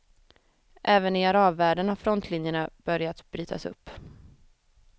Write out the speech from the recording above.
Även i arabvärlden har frontlinjerna börjat brytas upp.